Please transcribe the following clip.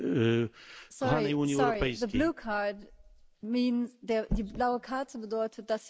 Die blaue Karte bedeutet, dass Sie dem vorigen Redner eine Frage stellen, nicht der Kommission.